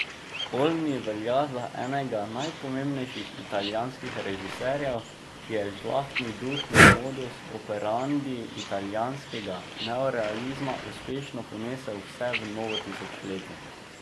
Olmi velja za enega najpomembnejših italijanskih režiserjev, ki je žlahtni duh in modus operandi italijanskega neorealizma uspešno ponesel vse v novo tisočletje.